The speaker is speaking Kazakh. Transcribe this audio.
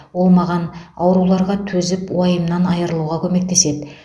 ол маған ауруларға төзіп уайымнан айырылуға көмектеседі